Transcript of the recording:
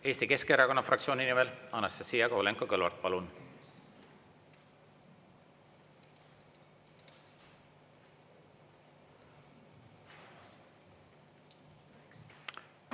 Eesti Keskerakonna fraktsiooni nimel, Anastassia Kovalenko-Kõlvart, palun!